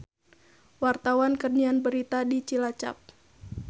Wartawan keur nyiar berita di Cilacap